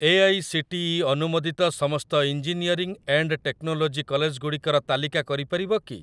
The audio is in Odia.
ଏଆଇସିଟିଇ ଅନୁମୋଦିତ ସମସ୍ତ ଇଞ୍ଜିନିୟରିଂ ଏଣ୍ଡ ଟେକ୍ନୋଲୋଜି କଲେଜଗୁଡ଼ିକର ତାଲିକା କରିପାରିବ କି?